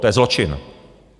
To je zločin!